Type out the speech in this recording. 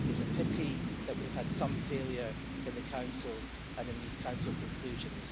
It's a pity that we have had some failure in the Council and in these Council conclusions.